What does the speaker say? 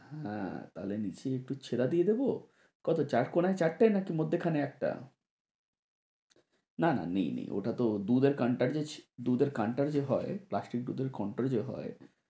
হ্যাঁ তাহলে নিচে একটু ছেদা দিয়ে দিবো কত চার কোনায় চারটা নাকি মধ্যখানে একটা? না না নেই নেই ওটাতো দুধের counter যে হয় plastic দুধের counter যে হয়